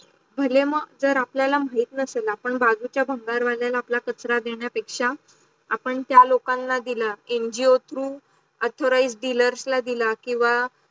भरेम जर आपल्या माहित नसेल आपण बाजूछे भानगर वालेला आपल्या कचरा देनर् पेक्षा आपण त्या लोकांना दिल ngos through authorized dealers ला दिल किव्वा